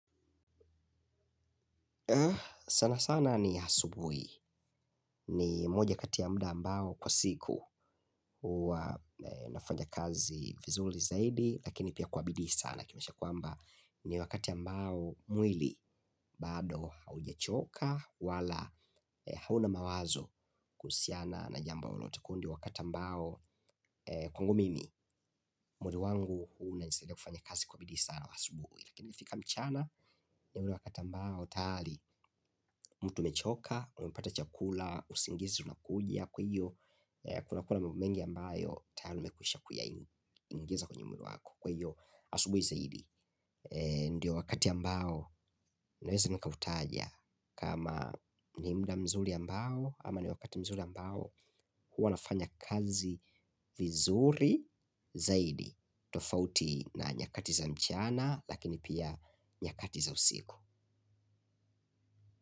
Sana sana ni asubuhi ni moja kati ya muda ambao kwa siku huwa nafanya kazi vizuri zaidi lakini pia kwa bidii sana kimesha kwamba ni wakati ambao mwili bado haujachoka wala hauna mawazo kuhusiana na jambo lolote kundi wakati ambao kwangu mimi mwili wangu hunisaidia kufanya kazi kwa bidii sana asubuhi lakini ikifika mchana ni wakati ambao tayari mtu umechoka umepata chakula, usingizi unakuja kwa hiyo kuna kuwa na mambo mengi ambayo tayari umekuisha kuya ingiza kwenye mwili wako kwa hiyo asubuhi zaidi ndio wakati ambao naweza nika utaja kama ni muda mzuri ambao ama ni wakati mzuri ambao hua nafanya kazi vizuri zaidi tofauti na nyakati za mchana lakini pia nyakati za usiku.